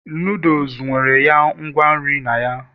noodles nwere ya ngwa nri na ya